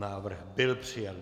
Návrh byl přijat.